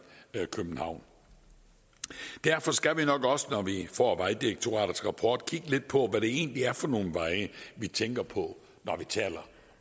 københavn derfor skal vi nok også når vi får vejdirektoratets rapport kigge lidt på hvad det egentlig er for nogle veje vi tænker på når vi taler